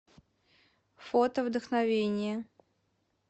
фото вдохновение